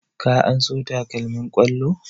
Ka anso takalmin ƙwallo?